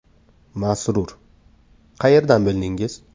Masrur: Qayerdan bildingiz?